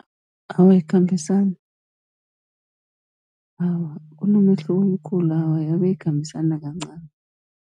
Awa, ayikhambisani awa kunomehluko omkhulu, awa abe ayikhambisani nakancani.